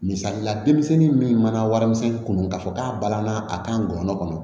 Misali la denmisɛnnin min mana warimisɛnnin kun don k'a fɔ k'a balanna a kan ŋɔnɔ